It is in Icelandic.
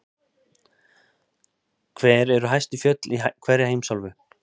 Hver eru hæstu fjöll í hverri heimsálfu?